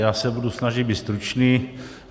Já se budu snažit být stručný.